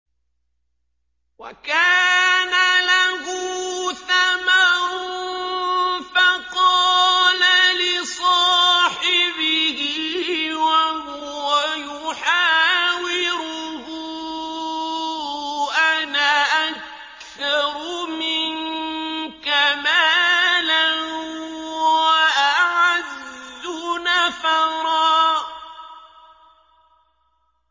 وَكَانَ لَهُ ثَمَرٌ فَقَالَ لِصَاحِبِهِ وَهُوَ يُحَاوِرُهُ أَنَا أَكْثَرُ مِنكَ مَالًا وَأَعَزُّ نَفَرًا